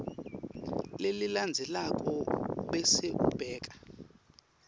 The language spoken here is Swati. lelilandzelako bese ubeka